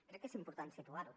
crec que és important situar ho